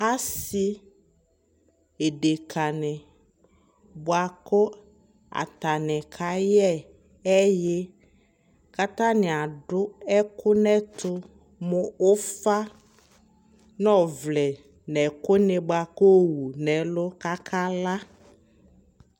asii ɛdɛka ni bʋakʋ atani kayɛ ɛyi kʋ atani adʋ ɛkʋ nʋ ɛtʋ mʋ ʋƒa nʋ ɔvlɛ nʋ ɛkʋ ni bʋakʋ kʋ ɔwʋ nʋ ɛlʋ kʋ aka la